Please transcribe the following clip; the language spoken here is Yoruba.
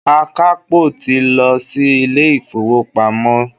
Akapo ti lọ sí ilé-ifowopamo.